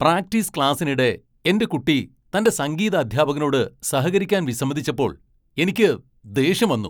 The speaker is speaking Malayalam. പ്രാക്ടീസ് ക്ലാസ്സിനിടെ എൻ്റെ കുട്ടി തൻ്റെ സംഗീത അദ്ധ്യാപകനോട് സഹകരിക്കാൻ വിസമ്മതിച്ചപ്പോൾ എനിക്ക് ദേഷ്യം വന്നു.